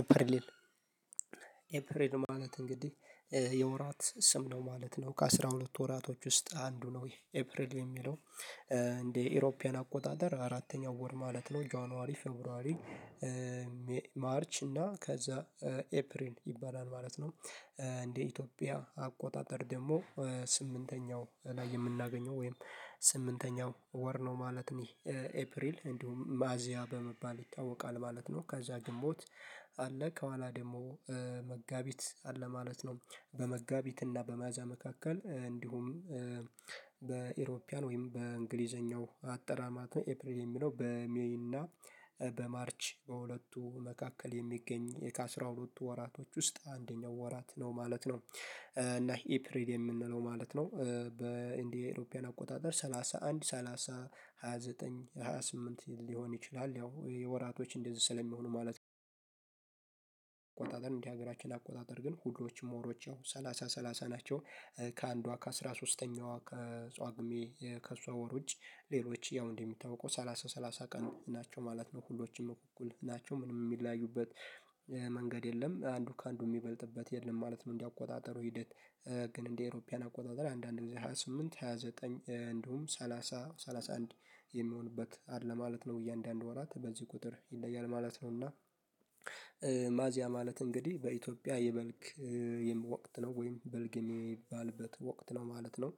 ኤፕሪል ኤፕሪል ማለት እንግዲህ የወራት ስም ነው ማለት ነው ከአሥራ ሁለት ወራቶች ውስጥ አንዱ ነው። ይሄ ኤፕሪል የሚለው እንደ አውሮፓውያን አቆጣጠር አራተኛው ወር ማለት ነው። ጃንዋሪ ፌርብሮአሪ ማርች እና ከዛ ኤፕሪል ይባላል ማለት ነው። እንደ ኢትዮጵያ አቆጣጠር ደግሞ ስምንተኛው ላይ የምናገኘው ወይም ስምንተኛው ወር ነው ማለት ነው። ኤፕሪል እንዲሁም ሚያዝያ በመባል ይታወቃል ማለት ነው። ከዛ ግንቦት አለ ከኋላ ደግሞ መጋቢት አለ ማለት ነው። በመጋቢት እና በሚያዝያ መካከል እንዲሁም በኢሮፒያን ወይም በእንግሊዘኛው አጠራር ማለት ነው። ኤፕሪል የሚለው በሜይና በማርች በሁለቱ መካከል የሚገኝ ከአስራ ሁለቱ ወራቶች ውስጥ አንደኛው ወራት ነው ማለት ነው። እና ኢፕሪል የምንለው ማለት ነው። በ እንደ የአውሮፓውያን አቆጣጠር ሰላሳ አንድ ሰላሳ ሃያ ዘጠኝ ሃያ ስምንት ሊሆን ይችላል ያው የወራቶች እንደዚህ ስለሚሆኑ ማለት ነው። ነው ቆጣጠር እንደ ሀገራችን አቆጣጠር ግን ሁሉም ወሮች ሰላሳ ሰላሳ ናቸው። ከአንዷ ከአስራ ሶስተኛዋ ከጶጉሜ ውጪ ሌሎች ያው እንደሚታወቀው ሰላሳ ሰላሳ ቀን ናቸው ማለት ነው። ሁሉም እኩል ናቸው ምንም የሚለያዩበት መንገድ የለም አንዱ ከአንዱ የሚበልጥበት የለም ማለት ነው። እንደ አቆጣጠሩ ሂደት። ግን እንደ አውሮፓውያን አቆጣጠር አንዳንድ ጊዜ ሃያ ስምንት ሃያ ዘጠኝ እንዲሁም ሰላሳ ሰላሳ አንድ አንድ የሚሆንበት አለ ማለት ነው። እያንዳንዱ ወራት በዚህ ቁጥር ይለያል ማለት ነው። እና ሚያዝያ ማለት እንግዲህ በኢትዮጵያ የበልግ ወቅት ነው ወይም በልግ የሚባልበት ወቅት ነው ማለት ነው።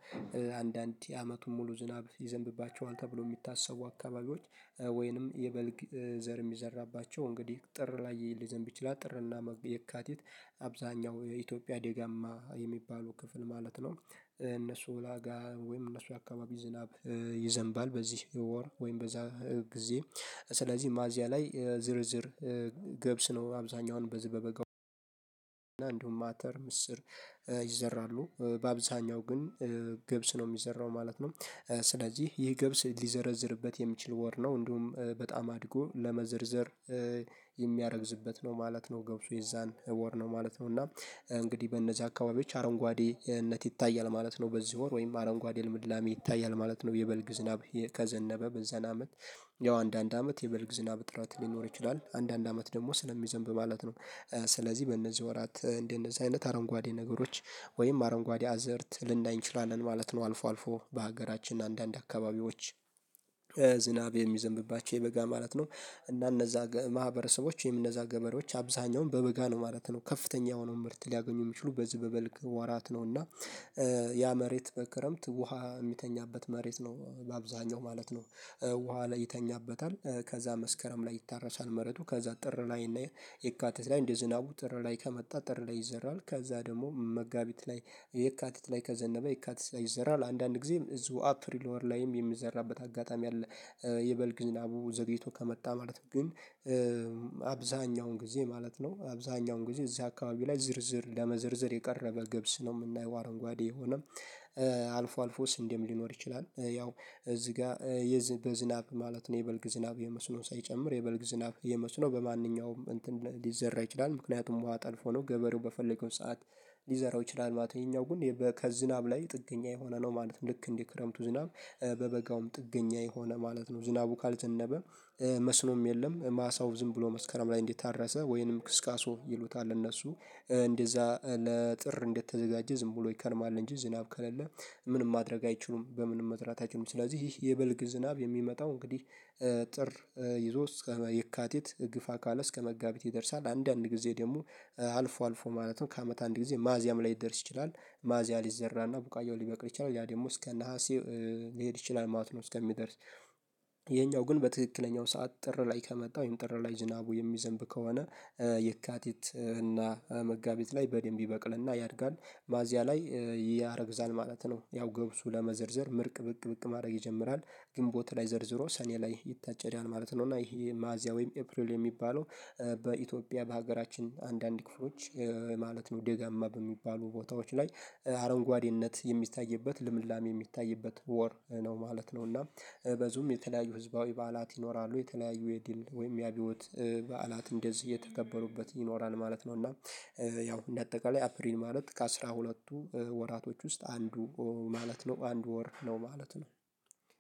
አንዳንድ አመቱን ሙሉ ዝናብ ይዘንብባቸዋል ተብሎ የሚታሰቡ አካባቢዎች ወይንም የበልግ ዘር የሚዘራባቸው እንግዲህ ጥር ላይ ሊዘንብ ይችላል ጥርእና የካቲት አብዛኛው የኢትዮጵያ ደጋማ የሚባለው ክፍል ማለት ነው። እነሱ ላጋ ወይም እነሱ አካባቢ ዝናብ ይዘንባል በዚህ ወር ወይም በዛ ጊዜ። ስለዚህ ሚያያዝ ላይ ዝርዝር ገብስ ነው። አብዛኛውን በዚህ በበጋው እና እንዲሁም አተር ምስር ይዘራሉ። በአብዛኛው ግን ገብስ ነው የሚዘራው ማለት ነው። ስለዚህ ይህ ገብስ ሊዘረዝርበት የሚችል ወር ነው እንዲሁም በጣም አድጎ ለመዘርዘር የሚያረግዝበት ነው ማለት ነው። ገብሱ የዛን ወር ነው ማለት ነው። እና እንግዲህ በእነዚህ አካባቢዎች አረንጓዴነት ይታያል ማለት ነው። በዚህ ወር ወይም አረንጓዴ ልምላሜ ይታያል ማለት ነው። የበልግ ዝናብ ከዘነበ በዛን አመት ያው አንድ አንድ አመት የበልግ ዝናብ እጥረት ሊኖር ይችላል። አንድ አንድ አመት ደግሞ ስለሚዘንብ ማለት ነው። ስለዚህ በእነዚህ ወራት እንደነዚህ አይነት አረንጓዴ ነገሮች ወይም አረንጓዴ አዝእርት ልናይ እንችላለን ማለት ነው። አልፎ አልፎ በሀገራችን አንዳንድ አካባቢዎች ዝናብ የሚዘንብባቸው የበጋ ማለት ነው። እና እነዛ ማህበረሰቦች ይሄም ገበሬዎች አብዛኛውን በበጋ ነው ማለት ነው። ከፍተኛ የሆነውን ምርት ሊያገኙ የሚችሉ በዚህ በበልግ ወራት ነውና። ያ መሬት በክረምት ውሃ የሚተኛበት መሬት ነው ለአብዛኛው ማለት ነው። ውሃ ላይ ይተኛበታል ከዛ መስከረም ላይ ይታረሳል። መረጡ ከዛ ጥር ላይ እና የካቲት ላይ እንደ ዝናቡ ጥር ላይ ከመጣ ጥር ላይ ይዘራል ከዛ ደግሞ መጋቢት ላይ የካቲት ላይ ከዘነበ የካቲት ላይ ይዘራል አንዳንድ ጊዜ እዚሁ አፕሪል ወር ላይም የሚዘራበት አጋጣሚ አለ። የበልግ ዝናቡ ዘግይቶ ከመጣ ማለት ግን አብዛኛውን ጊዜ ማለት ነው። አብዛኛውን ጊዜ እዚህ አካባቢ ላይ ዝርዝር ለመዘርዘር የቀረበ ገብስ ነው የምናየው አረንጓዴ የሆነ አልፎ አልፎስ ስንዲም ሊኖር ይችላል። ያው እዚህ ጋር በዝናብ ማለት ነው የበልግ ዝናብ የመስኖ ሳይጨምር የበልግ ዝናብ የመስኖ በማንኛውም እንትን ሊዘራ ይችላል። ምክንያቱም ውሃ ጠልፎ ነው ገበሬው በፈለገው ሰዓት ሊዘራው ይችላል ማለት ነው። ይሄኛው ግን ከዝናብ ላይ ጥገኛ የሆነ ነው ማለት ነው። ልክ እንደ ክረምቱ ዝናብ በበጋውም ጥገኛ የሆነ ማለት ነው። ዝናቡ ካልዘነበ መስኖም የለም። ማሳው ዝም ብሎ መስከረም ላይ እንደ ታረሰ ወይንም ክስካሶ ይሉታል እነሱ እንደዛ ለጥር እንደተዘጋጀ ዝም ብሎ ይከርማል እንጂ ዝናብ ከሌለ ምንም ማድረግ አይችሉም። በምንም መዝራት አይችሉም። ስለዚህ የበልግ ዝናብ የሚመጣው እንግዲህ ጥር ይዞ እስከ የካቲት ግፋ ካለ እስከ መጋቢት ይደርሳል። አንዳንድ ጊዜ ደግሞ አልፎ አልፎ ማለት ነው ከአመት አንድ ጊዜ ሚያዚያ ላይ ሊደርስ ይችላል። ሚያዚያ ሊዘራና ቡቃየው ሊበቅል ይችላል ያ ደግሞ እስከ ነሀሴ ሊሄድ ይችላል ማለት ነው። እስከሚደርስ ይሄኛው ግን በትክክለኛው ሰዓት ጥር ላይ ከመጣ ወይም ጥር ላይ ዝናቡ የሚዘንብ ከሆነ የካቲት እና መጋቢት ላይ በደንብ ይበቅልና ያድጋል። ሚያዚያ ላይ ያረግዛል ማለት ነው። ያው ገብሱ ለመዘርዘር ምርቅ ብቅ ብቅ ማድረግ ይጀምራል። ግንቦት ላይ ዘርዝሮ ሰኔ ላይ ይታጨዳል ማለት ነው። እና ይሄ ማዚያ ወይም ኤፕሪል የሚባለው በኢትዮጵያ በሀገራችን አንዳንድ ክፍሎች ማለት ነው። ደጋማ በሚባሉ ቦታዎች ላይ አረንጓዴነት የሚታይበት ልምላሜ የሚታይበት ወር ነው ማለት ነው። እና በዚሁም የተለያዩ ህዝባዊ በዓላት ይኖራሉ የተለያዩ የድል ወይም የአብዮት በዓላት እንደዚህ የተከበሩበት ይኖራል ማለት ነው። እና ያው እንደ አጠቃላይ አፕሪን ማለት ከአሥራ ሁለትቱ ወራቶች ውስጥ አንዱ ማለት ነው አንድ ወር ነው ማለት ነው።